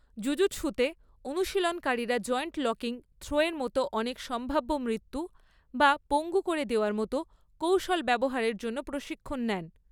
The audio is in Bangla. জুজুৎসুতে, অনুশীলনকারীরা জয়েন্ট লকিং থ্রোয়ের মতো অনেক সম্ভাব্য মৃত্যু বা পঙ্গু করে দেওয়ার মত কৌশল ব্যবহারের জন্য প্রশিক্ষণ নেন।